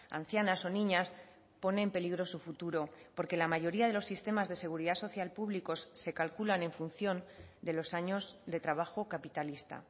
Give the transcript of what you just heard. ancianas o niñas pone en peligro su futuro porque la mayoría de los sistemas de seguridad social públicos se calculan en función de los años de trabajo capitalista